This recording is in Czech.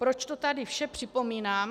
Proč to tady vše připomínám?